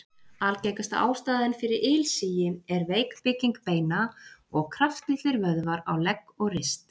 Algengasta ástæðan fyrir ilsigi er veik bygging beina og kraftlitlir vöðvar á legg og rist.